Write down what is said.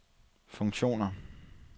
funktioner